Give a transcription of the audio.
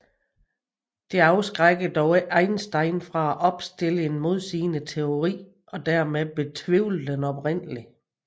Dette afskrækkede dog ikke Einstein fra at opstille en modsigende teori og dermed betvivle den oprindelige